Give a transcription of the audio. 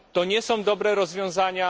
To nie są dobre rozwiązania.